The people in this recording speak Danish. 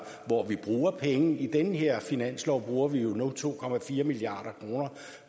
hvor vi bruger penge i den her finanslov bruger vi nu to milliard kroner